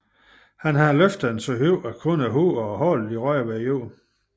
Han havde løftet den så højt at kun dens hoved og hale havde rørt jorden